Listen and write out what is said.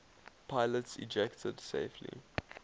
pilots ejected safely